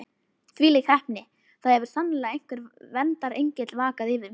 Þvílík heppni: það hefur sannarlega einhver verndarengill vakað yfir mér.